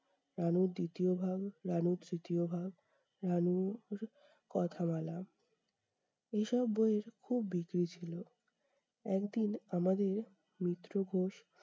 রানুর দ্বিতীয় ভাগ, রানুর তৃতীয় ভাগ, রানু কথা বলা। এইসব বইয়ের খুব বিক্রি ছিল। একদিন আমাদের মিত্র ঘোষ